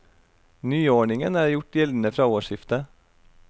Nyordningen er gjort gjeldende fra årsskiftet.